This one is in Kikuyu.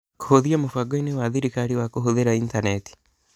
Kũhĩtia Mũbangoinĩ wa Thirikari wa Kũhũthĩra Intaneti